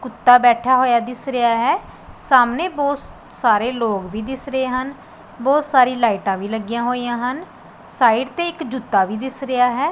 ਕੁੱਤਾ ਬੈਠਾ ਹੋਇਆ ਦਿਸ ਰਿਹਾ ਹੈ ਸਾਹਮਣੇ ਬਹੁਤ ਸਾਰੇ ਲੋਗ ਵੀ ਦਿਸ ਰਹੇ ਹਨ ਬਹੁਤ ਸਾਰੀ ਲਾਈਟਾਂ ਵੀ ਲੱਗੀਆਂ ਹੋਈਆਂ ਹਨ ਸਾਈਡ ਤੇ ਇੱਕ ਜੁੱਤਾ ਵੀ ਦਿਸ ਰਿਹਾ ਹੈ।